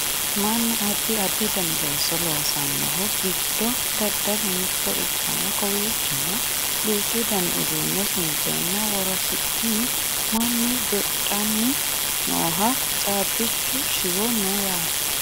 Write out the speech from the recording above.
mannu addi addi dani looso loosannohu giddo daddalu mitto ikkanna kowiichono duuchu dani uduunne sunteenna worosiinni mannu doodhanni noohanna caabbichu shiwo no yate